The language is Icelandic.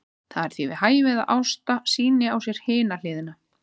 Það er því við hæfi að Ásta sýni á sér hina hliðina.